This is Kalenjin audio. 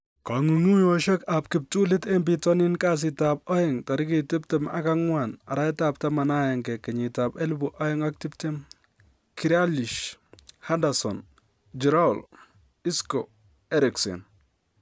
Kong'ung'unyosiek ab kiptulit en bitoni kasitab aeng 24/11/2020: Grealish, Henderson, Giroud, Isco, Eriksen